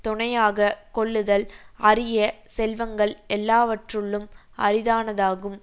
துணையாக கொள்ளுதல் அரிய செல்வங்கள் எல்லாவற்றுள்ளும் அரிதானதாகும்